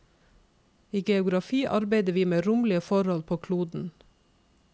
I geografi arbeider vi med romlige forhold på kloden.